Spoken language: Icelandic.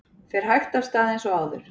Fer hægt af stað eins og áður